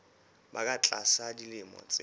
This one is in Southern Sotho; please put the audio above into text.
ba ka tlasa dilemo tse